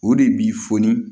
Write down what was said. O de b'i foni